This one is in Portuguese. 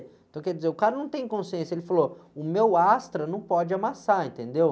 Então, quer dizer, o cara não tem consciência, ele falou, o meu astra não pode amassar, entendeu?